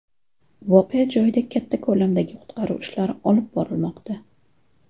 Voqea joyida katta ko‘lamdagi qutqaruv ishlari olib borilmoqda.